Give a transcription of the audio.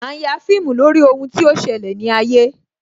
A ń ya fíìmù lórí ohun tí ó ṣẹlẹ̀ ní ayé